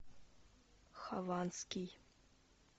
хованский